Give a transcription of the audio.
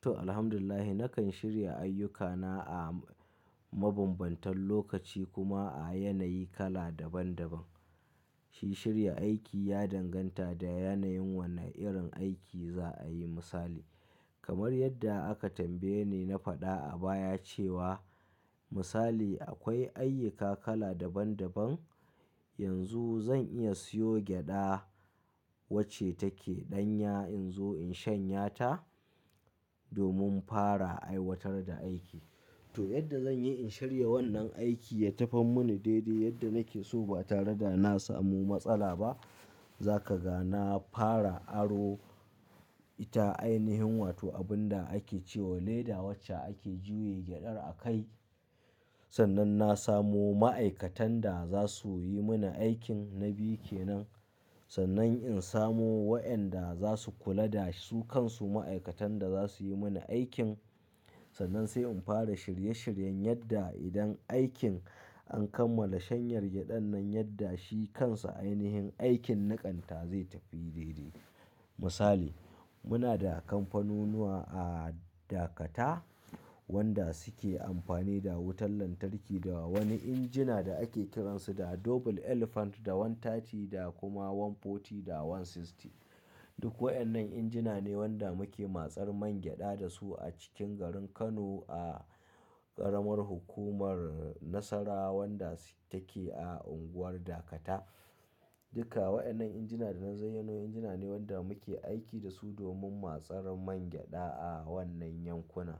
To, Alhamdulillah nakan shirya ayyukana a mabambantan lokaci kuma a yanayi kala daban-daban. Shi shirya aiki ya danganta da yanayin wane irin aiki za a yi misali. Kamar yadda aka tambaye ni na faɗa a baya cewa misali akwai ayyuka kala daban-daban. Yanzu zan iya siyo gyaɗa wacce take ɗanya in zo in shanya ta domin fara aiwatar da aiki. To, yadda zan yi in shirya wannan aiki ya tafi mini daidai yadda nake so ba tare da na samu matsala ba. Za ka ga na fara aro ita ainihin wato abin da ake ce wa leda wacce ake juya gyaɗar a kai. Sannan na samu ma'aikatan da za su yi mani aikin na biyu kenan. Sannan in samu wa'anda za su kula da su kansu ma'aikatan da za su yi mani aikin. Sannan sai in fara shirye-shiryen yadda idan aikin an kammala shanyar gyaɗan nan yadda shi kansa ainihin aikin niƙanta zai tafi daidai. Misali, muna da kamfanunuwa a Dakata wanda suke amfani da wutar lantarki da wani injina da ake kiran su da Double Elephant da wan 30 da kuma wan 40 da wan 60. Duk wa'annan injina ne wanda muke matsar man gyaɗa da su a cikin garin Kano a ƙaramar hukumar Nasarawa wanda take a unguwar Dakata. Duka wa'annan injina da na zayyanowa injina ne wanda muke aiki da su domin matsar man gyaɗa a wannan yankuna.